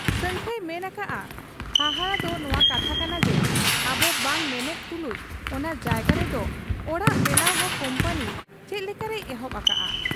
ᱥᱟᱹᱝᱠᱷᱟᱹᱭ ᱢᱮᱱ ᱟᱠᱟᱜ ᱟ ᱦᱟᱦᱟᱲᱟ ᱫᱚ ᱱᱚᱶᱟ ᱠᱟᱛᱷᱟ ᱠᱟᱱᱟ ᱡᱮ ᱟᱵᱚ ᱵᱟᱝ ᱢᱮᱱᱮᱫ ᱛᱩᱞᱩᱡ ᱚᱱᱟ ᱡᱟᱭᱜᱟ ᱨᱮᱫᱚ ᱚᱲᱟᱜ ᱵᱮᱱᱟᱣ ᱦᱚᱸ ᱠᱩᱢᱯᱟᱹᱱᱤ ᱪᱮᱫ ᱞᱮᱠᱟᱨᱮᱭ ᱮᱦᱚᱵ ᱟᱠᱟᱜ ᱟ ᱾